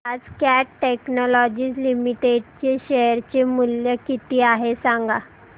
आज Cat technologies limited चे share चे मूल्य किती आहे सांगा